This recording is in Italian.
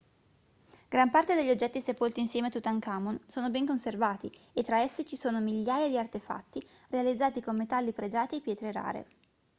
gran parte degli oggetti sepolti insieme a tutankhamon sono ben conservati e tra essi ci sono migliaia di artefatti realizzati con metalli pregiati e pietre rare